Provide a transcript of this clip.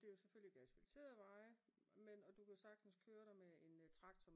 Det er jo selvfølgelig ikke asfalterede veje men og du kan sagtens køre der med en traktor